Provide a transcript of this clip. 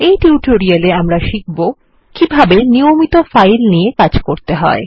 এই টিউটোরিয়াল এ আমরা শিখব কিভাবে নিয়মিত ফাইল নিয়ে কাজ করতে হয়